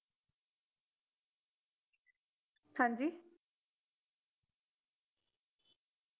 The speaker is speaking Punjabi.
ਹਾਂਜੀ